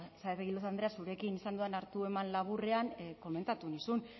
saez de egilaz andrea zurekin izan dudan hartu eman laburrean komentatu nizun